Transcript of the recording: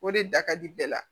O de da ka di bɛɛ la